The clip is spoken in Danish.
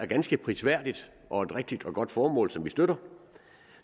ganske prisværdigt og et rigtigt og godt formål som vi støtter